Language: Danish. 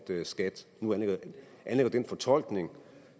skat nu anlægger den fortolkning